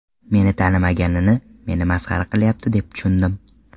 Meni tanimaganini, meni masxara qilyapti deb tushundim.